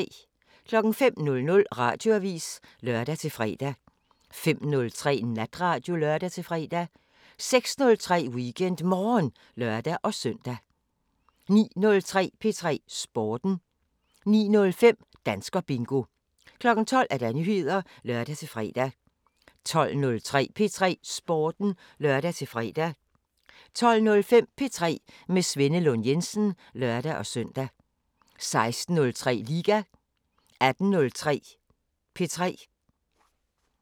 05:00: Radioavisen (lør-fre) 05:03: Natradio (lør-fre) 06:03: WeekendMorgen (lør-søn) 09:03: P3 Sporten (lør-søn) 09:05: Danskerbingo 12:00: Nyheder (lør-fre) 12:03: P3 Sporten (lør-fre) 12:05: P3 med Svenne Lund Jensen (lør-søn) 16:03: Liga 18:03: P3